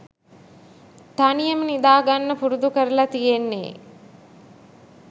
තනියෙම නිදා ගන්න පුරුදු කරලා තියෙන්නේ.